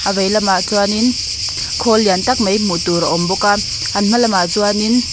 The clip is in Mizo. a vei lamah chuanin khawl lian tak mai hmuh tur a awm bawk a an hma lam ah chuanin --